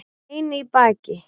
Bein í baki